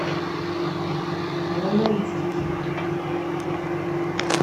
броновицкий